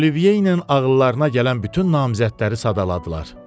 Olivierlə ağıllarına gələn bütün namizədləri sadaladılar.